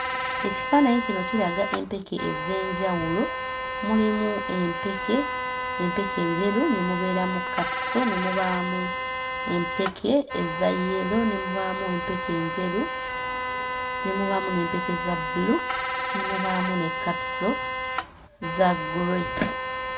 Ekifaananyi kino kiraga empeke ez'enjawulo: mulimu empeke empeke enjeru, ne mubeeramu kkapiso, ne mubaamu empeke eza yero, ne mubaamu empeke enjeru, ne mubaamu n'empeke za bbulu, ne mubaamu ne kkapiso za ggule.